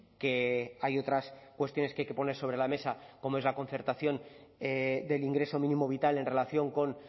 que hay otras cuestiones que hay que poner sobre la mesa como es la concertación del ingreso mínimo vital en relación con